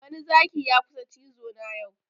Wani Zaki ya kusa cizo na yau